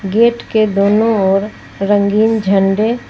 gate के दोनों और रंगीन झंडे--